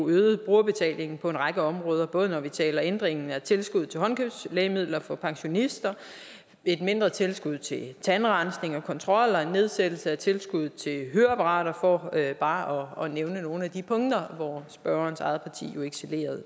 øgede jo brugerbetalingen på en række områder både når vi taler om ændringen af tilskud til håndkøbslægemidler for pensionister et mindre tilskud til tandrensning og kontrol og en nedsættelse af tilskuddet til høreapparater for bare at nævne nogle af de punkter hvor spørgerens eget parti jo excellerede